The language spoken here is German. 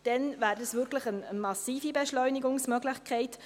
Dann wäre dies wirklich eine massive Beschleunigungsmöglichkeit.